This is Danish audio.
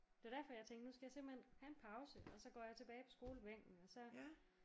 Det er derfor jeg tænkte nu skal jeg simpelthen have en pause og så går jeg tilbage på skolebænken og så